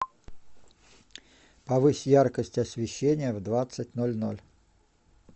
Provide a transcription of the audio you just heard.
повысь яркость освещения в двадцать ноль ноль